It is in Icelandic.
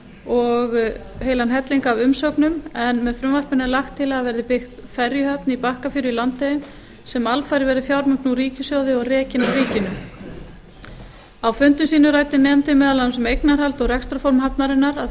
og heilan helling af umsögnum með frumvarpinu er lagt til að byggð verði ferjuhöfn í bakkafjöru í landeyjum sem alfarið verði fjármögnuð úr ríkissjóði og rekin af ríkinu á fundum sínum ræddi nefndin meðal annars um eignarhald og rekstrarform hafnarinnar að